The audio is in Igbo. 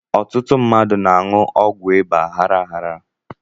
Ọtụtụ mmadụ na-aṅụ ọgwụ ịba aghara aghara